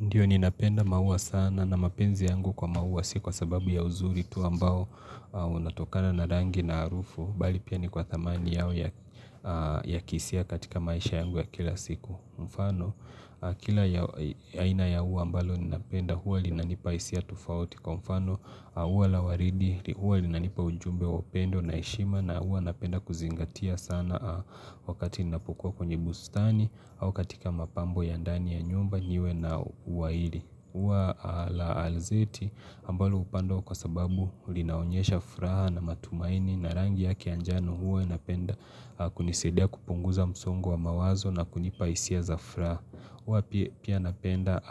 Ndiyo ninapenda maua sana na mapenzi yangu kwa maua si kwa sababu ya uzuri tu ambao unatokana na rangi na harufu. Bali pia ni kwa thamani yao ya kihisia katika maisha yangu ya kila siku. Mfano kila ya aina ya ua ambalo ninapenda huwa linanipa isia tufauti kwa mfano ua la waridi huwa linanipa ujumbe wa upendo na heshima na huwa napenda kuzingatia sana wakati ninapokua kwenye bustani au katika mapambo ya ndani ya nyumba niwe na ua ili. Ua la alzeti ambalo upandwa kwa sababu linaonyesha furaha na matumaini na rangi yake ya anjano huwa napenda kunisadia kupunguza msongo wa mawazo na kunipa isia za furaha. Huwa pia napenda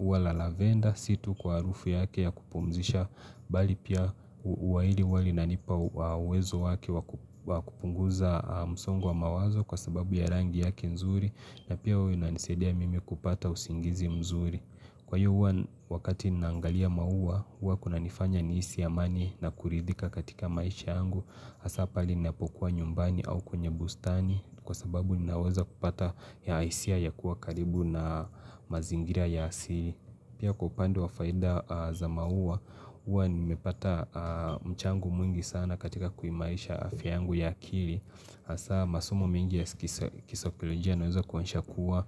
ua la lavenda si tu kwa harufu yake ya kupumzisha bali pia ua ili huwa linanipa uwezo wake wa kupunguza msongo wa mawazo kwa sababu ya rangi yake nzuri na pia huwa inanisadia mimi kupata usingizi mzuri kwa hiyo huwa wakati naangalia maua hua kunanifanya nihisi amani na kuridhika katika maisha yangu hasa pale ninapokuwa nyumbani au kwenye bustani kwa sababu ninaweza kupata ya isia ya kuwa karibu na mazingira ya asili pia kwa upande wa faida za maua hua nimepata mchango mwingi sana katika kuimarisha afya yangu ya akili hasa masomo mengi ya kisa kisaikolojia yanaweza kuonyesha kuwa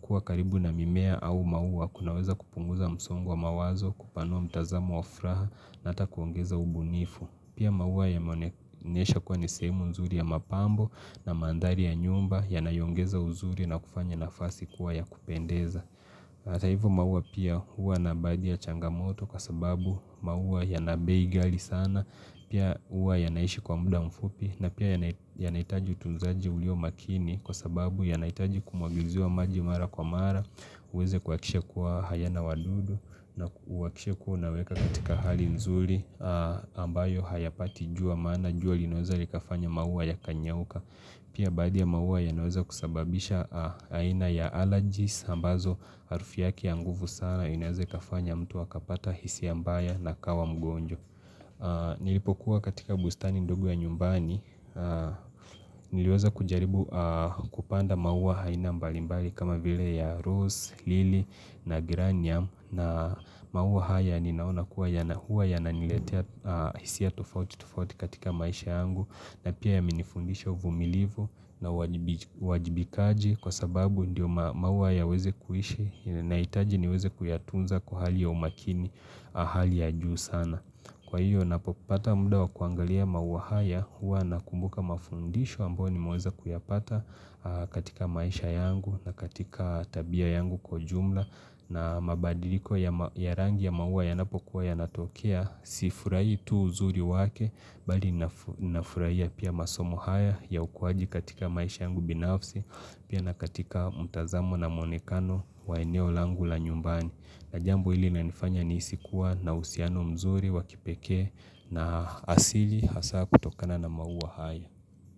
kuwa karibu na mimea au maua kunaweza kupunguza msongo wa mawazo kupanua mtazamo wa furaha na ata kuongeza ubunifu Pia maua yameonesha kuwa ni sehemu nzuri ya mapambo na mandhari ya nyumba yanayoongeza uzuri na kufanya nafasi kuwa ya kupendeza hata hivyo maua pia hua na baadhi ya changamoto kwa sababu maua yana bei ghali sana Pia huwa yanaishi kwa muda mfupi na pia yana yanaitaji utunzaji ulio makini kwa sababu yanaitaji kumwagiziwa maji mara kwa mara uweze kuhakikisha kuwa hayana wadudu na uhakikishe kuwa unaweka katika hali nzuri ambayo hayapati jua maana jua linaweza likafanya maua yakanyauka Pia baadhi ya maua yanaweza kusababisha aina ya allergies ambazo harufi yake ya nguvu sana inaeza ikafanya mtu akapata hisia mbaya na akawa mgonjwa Nilipokuwa katika bustani ndogo ya nyumbani Niliweza kujaribu kupanda maua aina mbalimbali kama vile ya Rose, Lily na Granium na maua haya ninaona kuwa yana huwa yananiletea hisia tufauti tufauti katika maisha yangu na pia yamenifundisha uvumilivu na uwajibi wajibikaji Kwa sababu ndiyo maua yaweze kuishi inahitaji niweze kuyatunza kwa hali ya umakini hali ya juu sana Kwa hiyo ninapopata muda wa kuangalia maua haya huwa nakumbuka mafundisho ambayo nimeweza kuyapata katika maisha yangu na katika tabia yangu kwa jumla na mabadiliko ya rangi ya maua yanapokuwa yanatokea si furahi tu uzuri wake bali na furahia pia masomo haya ya ukuwaji katika maisha yangu binafsi pia na katika mtazamo na muonekano wa eneo langu la nyumbani. Na jambo ili linanifanya niisi kuwa na uhusiano mzuri wa kipekee na asili hasa kutokana na maua haya.